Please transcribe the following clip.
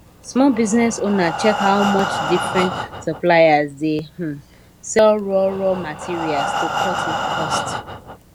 small business owner check how much different suppliers dey um sell raw raw materials to cut cost